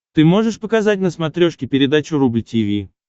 ты можешь показать на смотрешке передачу рубль ти ви